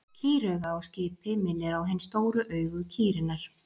Kýrauga á skipi minnir á hin stóru augu kýrinnar.